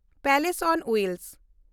place on wheel